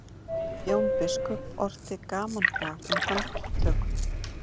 jón biskup orti gamanbrag um handtökuna